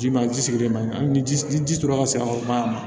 Ji ma ji sigilen man ɲi ji ji la ka se ka